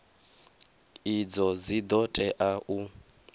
idzo dzi ḓo tea u